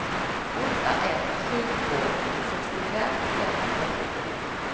åtta ett sju två sextiofem femhundrasjuttio